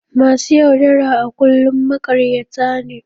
Masu yaudara a kullum maƙaryata ne.